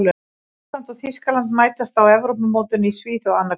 Ísland og Þýskaland mætast á Evrópumótinu í Svíþjóð annað kvöld.